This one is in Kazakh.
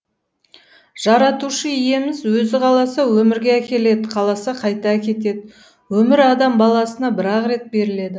жаратушы иеміз өзі қаласа өмірге әкеледі қаласа қайта әкетеді өмір адам баласына бір ақ рет беріледі